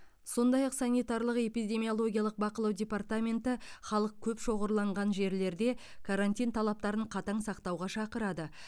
сондай ақ санитарлық эпидемиологиялық бақылау департаменті халық көп шоғырланған жерлерде карантин талаптарын қатаң сақтауға шақырады